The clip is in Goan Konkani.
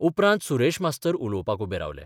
उपरांत सुरेश मास्तर उलोवपाक उबे रावले.